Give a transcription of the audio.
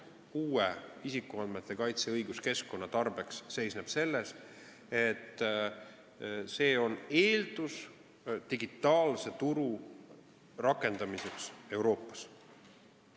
Isikuandmete kaitse uue õiguskeskkonna lähtekoht seisneb selles, et see on eeldus digitaalse turu rakendamiseks Euroopas.